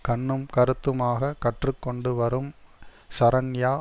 கண்ணும் கருத்தமாக கற்று கொண்டு வரும் ஷரண்யா